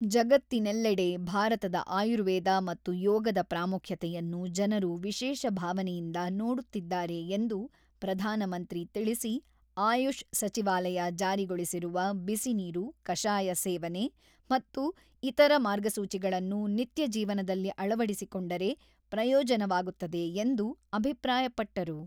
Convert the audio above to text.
ಜಗತ್ತಿನೆಲ್ಲಡೆ ಭಾರತದ ಆರ್ಯುವೇದ ಮತ್ತು ಯೋಗದ ಪ್ರಾಮುಖ್ಯತೆಯನ್ನು ಜನರು ವಿಶೇಷ ಭಾವನೆಯಿಂದ ನೋಡುತ್ತಿದ್ದಾರೆ ಎಂದು ಪ್ರಧಾನಮಂತ್ರಿ ತಿಳಿಸಿ ಆಯುಷ್ ಸಚಿವಾಲಯ ಜಾರಿಗೊಳಿಸಿರುವ ಬಿಸಿನೀರು, ಕಷಾಯ ಸೇವನೆ ಮತ್ತು ಇತರ ಮಾರ್ಗಸೂಚಿಗಳನ್ನು ನಿತ್ಯ ಜೀವನದಲ್ಲಿ ಅಳವಡಿಸಿಕೊಂಡರೆ ಪ್ರಯೋಜನವಾಗುತ್ತದೆ ಎಂದು ಅಭಿಪ್ರಾಯಪಟ್ಟರು.